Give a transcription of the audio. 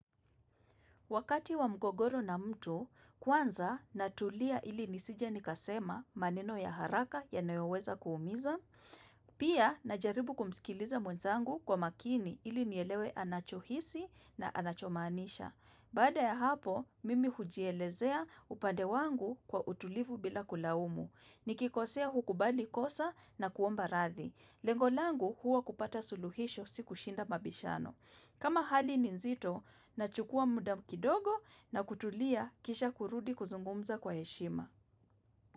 Wakati wa mgogoro na mtu, kwanza natulia ili nisije nikasema maneno ya haraka yanayoweza kuumiza. Pia, najaribu kumisikiliza mwenzangu kwa makini ili nielewe anachohisi na anachomanisha. Bada ya hapo, mimi hujielezea upande wangu kwa utulivu bila kulaumu. Nikikosea hukubali kosa na kuomba rathi. Lengo langu huwa kupata suluhisho siku shinda mabishano. Kama hali ni nzito, nachukua muda kidogo na kutulia kisha kurudi kuzungumza kwa heshima.